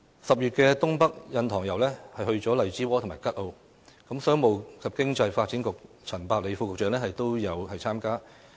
10月的"東北印塘遊"便去了荔枝窩和吉澳，商務及經濟發展局陳百里副局長也有參加。